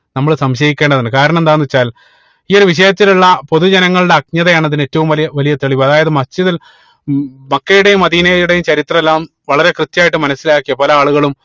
നമ്മള് സംശയിക്കേണ്ടതുണ്ട് കാരണം എന്താന്ന് വെച്ചാൽ ഈ ഒരു വിഷയത്തിൽ ഉള്ള പൊതു ജനങ്ങളുടെ അക്ജതയാണ് അതിന് ഏറ്റവും വലിയ വലിയ തെളിവ് അതായത് Masjid ഉൽ മക്കയുടേയും മദീനയുടെയും ചരിത്രം എല്ലാം വളരെ കൃത്യായിട്ട് മനസിലാക്കിയ പല ആളുകളും